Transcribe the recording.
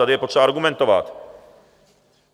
Tady je potřeba argumentovat.